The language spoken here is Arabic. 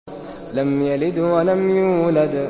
لَمْ يَلِدْ وَلَمْ يُولَدْ